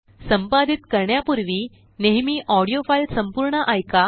संपादित करण्यापूर्वी नेहमी ऑडीओ फाईल संपूर्ण एका